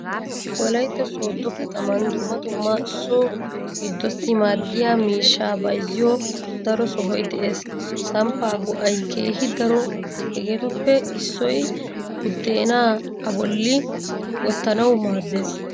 Wolaytta sooddo katamaan dumma dumma so giddossi maaddiyaa miishshaa bayzziyaa daro sohoy de'ees. Samppaa go'ay keehi daro hegeetuppe issoy buddeenaa a bolli wottanawu maaddees.